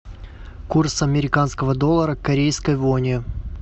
курс американского доллара к корейской воне